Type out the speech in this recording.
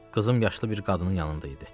Qızım yaşlı bir qadının yanında idi.